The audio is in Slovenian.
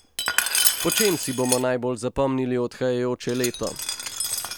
Po čem si bomo najbolj zapomnili odhajajoče leto?